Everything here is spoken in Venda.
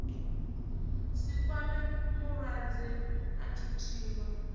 si kwame mulwadze a thuthiwa